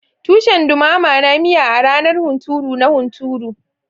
Tushen dumama na miya a ranar hunturu na hunturu.